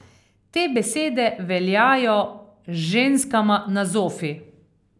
Te besede veljajo ženskama na zofi.